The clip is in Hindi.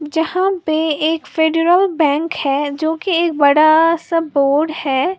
जहां पे एक फेडरल बैंक है जो की एक बड़ा सा बोर्ड है।